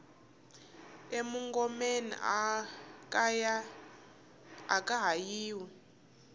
e mungomeni aka ha yiwi